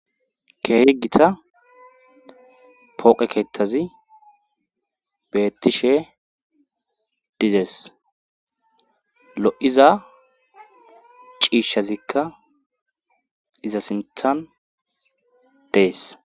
keehi gita pooqe keetazi beettishe dizays lo'iza ciishshazikka iza sinthan dees